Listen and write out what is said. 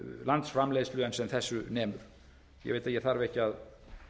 landsframleiðslu en sem þessu nemur ég veit að ég þarf ekki að